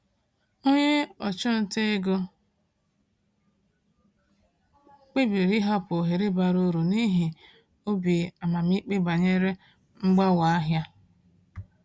Onye ọchụnta ego kpebiri ịhapụ ohere bara uru n’ihi obi amamikpe banyere mgbanwe ahịa.